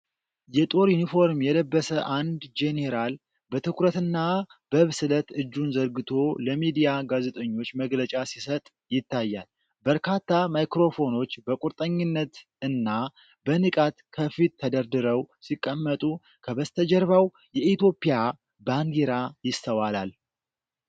የጦር ዩኒፎርም የለበሰ አንድ ጄኔራል በትኩረትና በብስለት እጁን ዘርግቶ ለሚዲያ ጋዜጠኞች መግለጫ ሲሰጥ ይታያል። በርካታ ማይክሮፎኖች በቁርጠኝነት እና በንቃት ከፊቱ ተደርድረው ሲቀመጡ፤ ከበስተጀርባው የኢትዮጵያ ባንዲራ ይስተዋላል።